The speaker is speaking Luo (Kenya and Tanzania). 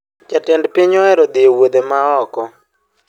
Jatend piny oero dhi ewuodhe ma oko